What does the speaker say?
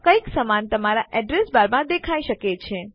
કંઈક સમાન તમારા એડ્રેસ બાર માં દેખાઇ શકે છે